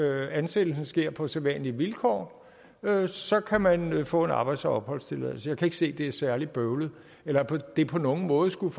at ansættelsen sker på sædvanlige vilkår så kan man man få en arbejds og opholdstilladelse jeg kan ikke se det er særlig bøvlet eller at det på nogen måde skulle